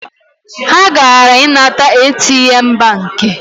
Ha gara inata ATM banki